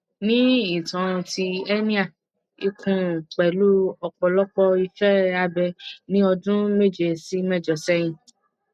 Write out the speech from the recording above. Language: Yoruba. ni ìtàn ti hernia ikùn pẹlú òpọlọpọ ise abe ní ọdún méje sí méjọ sẹyìn